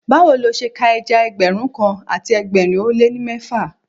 Báwo lo ṣe ka ẹja Ẹgbẹ̀rún kan àti ẹgbẹ̀rin ó lé ní mẹ́fà?